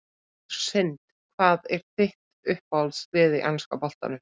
Algjör synd Hvað er þitt uppáhaldslið í enska boltanum?